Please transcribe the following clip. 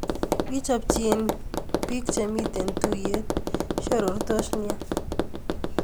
Wii chopchin biik chemiten tuyet, siorortos nia